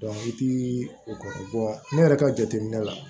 i ti o ko ne yɛrɛ ka jateminɛ la